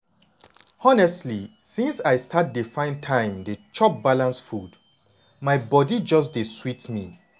honestly since i start dey find time dey chop balanced food my body just dey sweet me.